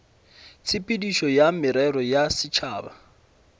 tshepedišo ya merero ya setšhaba